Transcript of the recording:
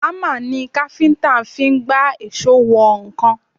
Hámà ni káfíńtà fi ń gbá èṣó wọ nǹkan